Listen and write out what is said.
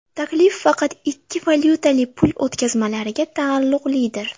Taklif faqat ikki valyutali pul o‘tkazmalariga taalluqlidir.